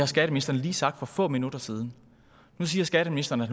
skatteministeren lige sagt for få minutter siden nu siger skatteministeren at